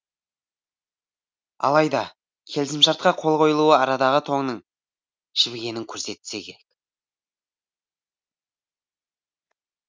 алайда келісімшартқа қол қойылуы арадағы тоңның жібігенін көрсетсе керек